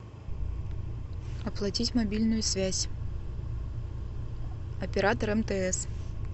оплатить мобильную связь оператор мтс